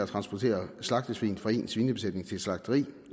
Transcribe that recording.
transportere slagtesvin fra sin svinebesætning til et slagteri